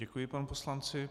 Děkuji panu poslanci.